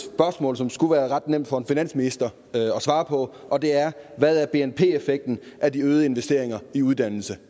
spørgsmål som skulle være ret nemt for en finansminister at svare på og det er hvad er bnp effekten af de øgede investeringer i uddannelse